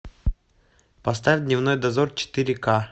поставь дневной дозор четыре ка